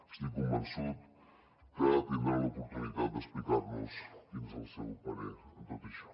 estic convençut que tindrà l’oportunitat d’explicar nos quin és el seu parer en tot això